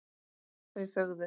Þau þögðu.